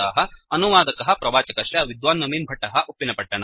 अनुवादकः प्रवाचकश्च विद्वान् नवीन् भट्टः उप्पिनपत्तनम्